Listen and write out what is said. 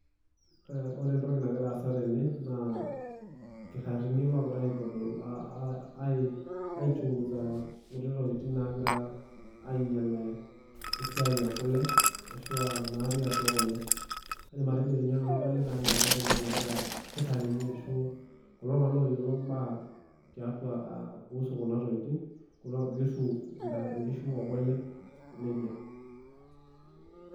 Wore entoki nakira aasa tene, naa ilkitarini lookira aitodol ai chunguza inkuti tokitin naakira ainyial esiai ekule, ashu aa natii atua kule. Kaidim atejo ninye nanu adolita enaa keeta entoki nakira ilkitarini arashu kulo tunganak ooyiolo imbaa tiatua kuhusu kuna tokitin, kuhusu inkishu okule, nejia.